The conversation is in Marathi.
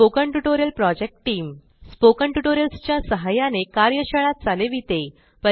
spoken tutorial project team spoken tutorials च्या सहाय्याने कार्यशाळा चालविते